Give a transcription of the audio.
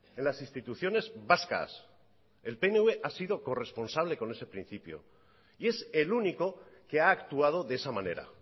en las instituciones vascas el pnv ha sido corresponsal con ese principio y es el único que ha actuado de esa manera